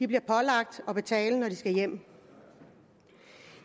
bliver pålagt at betale når de skal hjem